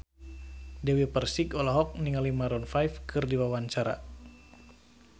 Dewi Persik olohok ningali Maroon 5 keur diwawancara